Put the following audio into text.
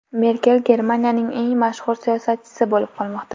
Merkel Germaniyaning eng mashhur siyosatchisi bo‘lib qolmoqda.